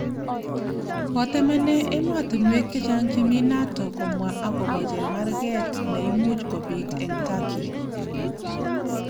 Kotemenee emotinwek che chang chemi NATO komwa akobo chemarget ne imuch kobit eng Turkey